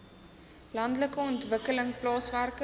landelike ontwikkeling plaaswerker